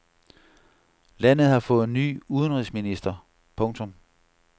Landet har fået ny udenrigsminister. punktum